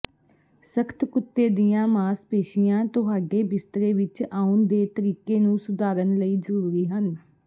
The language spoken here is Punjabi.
ਸਖ਼ਤ ਕੁੱਤੇ ਦੀਆਂ ਮਾਸਪੇਸ਼ੀਆਂ ਤੁਹਾਡੇ ਬਿਸਤਰੇ ਵਿੱਚ ਆਉਣ ਦੇ ਤਰੀਕੇ ਨੂੰ ਸੁਧਾਰਨ ਲਈ ਜ਼ਰੂਰੀ ਹਨ